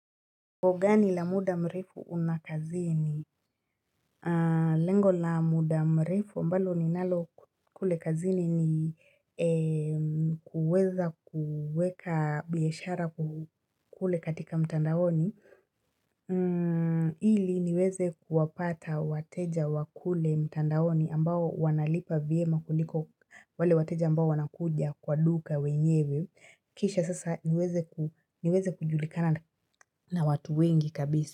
Nguo gani la muda mrefu una kazini? Lengo la muda mrefu ambalo ninalo kule kazini ni kuweza kuweka biashara kule katika mtandaoni. Ili niweze kuwapata wateja wa kule mtandaoni ambao wanalipa vyema kuliko wale wateja ambao wanakuja kwa duka weyewe. Kisha sasa niweze kujulikana na watu wengi kabisi.